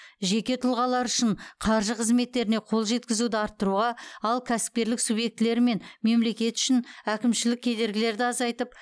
жеке тұлғалар үшін қаржы қызметтеріне қол жеткізуді арттыруға ал кәсіпкерлік субъектілері мен мемлекет үшін әкімшілік кедергілерді азайтып